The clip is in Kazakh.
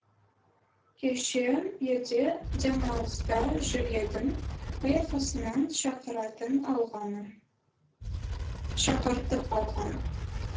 кеше елде демалыста жүр едім аяқ астынан шақыратын алғаны шақыртып алғаны